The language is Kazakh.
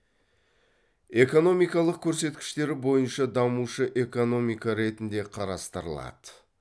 экономикалық көрсеткіштері бойынша дамушы экономика ретінде қарастырылады